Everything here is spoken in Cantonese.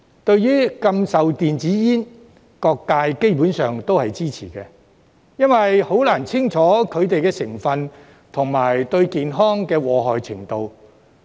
對於禁售電子煙，各界基本上都是支持的，因為很難清楚了解它們的成分及對健康的禍害程度。